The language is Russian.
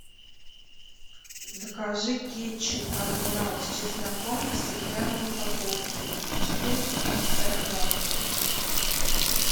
закажи кетчуп адмирал с чесноком в стеклянной упаковке четыреста пятьдесят грамм